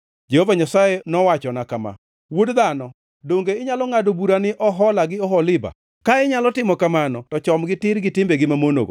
Jehova Nyasaye nowachona kama: “Wuod dhano, donge inyalo ngʼado bura ni Ohola gi Oholiba? Ka inyalo timo kamano to chomgi tir gi timbegi mamonogo,